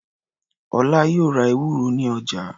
Ọlá yóò ra ewúro ní ọjà.